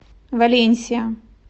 валенсия